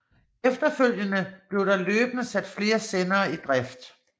Efterfølgende blev der løbende sat flere sendere i drift